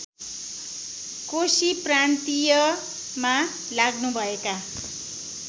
कोशी प्रान्तीयमा लाग्नुभएका